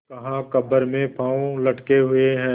कहाकब्र में पाँव लटके हुए हैं